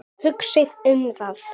Hugsið um það.